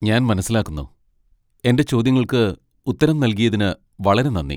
ഞാൻ മനസ്സിലാക്കുന്നു. എന്റെ ചോദ്യങ്ങൾക്ക് ഉത്തരം നൽകിയതിന് വളരെ നന്ദി.